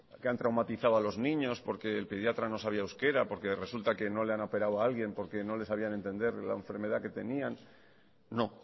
que han traumatizado a los niños porque el pediatra no sabía euskara porque resulta que no le han operado a alguien porque no le sabían entender la enfermedad que tenían no